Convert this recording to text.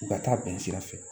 U ka taa bɛn sira fɛ